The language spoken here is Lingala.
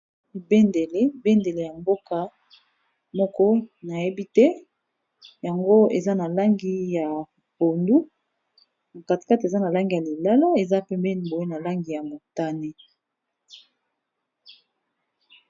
Bendele, bendele ya mboka moko nayebi te yango eza na langi ya pondu, na kati kati eza na langi ya lilala, eza pembeni boye na langi ya motane.